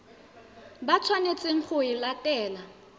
ba tshwanetseng go e latela